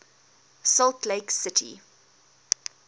salt lake city